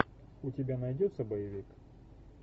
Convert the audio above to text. у тебя найдется боевик